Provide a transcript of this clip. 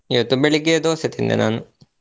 ಇವತ್ತು ಬೆಳಿಗ್ಗೆ Dosa ತಿಂದೆ ನಾನು.